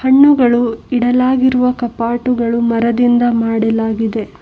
ಹಣ್ಣುಗಳು ಇಡಲಾಗಿರುವ ಕಪಾಟುಗಳು ಮರದಿಂದ ಮಾಡಲಾಗಿದೆ.